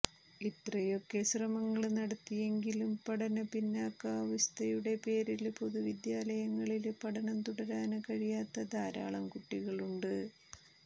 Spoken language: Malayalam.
ഇത്രയൊക്കെ ശ്രമങ്ങള് നടത്തിയെങ്കിലും പഠനപ്പിന്നാക്കാവസ്ഥയുടെ പേരില് പൊതുവിദ്യാലയങ്ങളില് പഠനം തുടരാന് കഴിയാത്ത ധാരാളം കുട്ടികളുണ്ട്